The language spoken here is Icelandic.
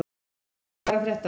Smári, hvað er að frétta?